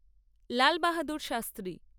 Lal Bahadur Shastri